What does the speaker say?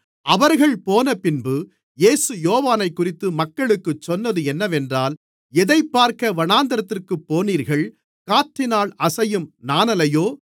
அவர்கள் போனபின்பு இயேசு யோவானைக்குறித்து மக்களுக்குச் சொன்னது என்னவென்றால் எதைப்பார்க்க வனாந்திரத்திற்குப் போனீர்கள் காற்றினால் அசையும் நாணலையோ